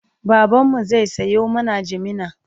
baban mu zai Sayo mana jimina